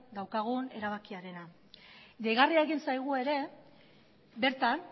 daukagun erabakiarena deigarria egin zaigu ere bertan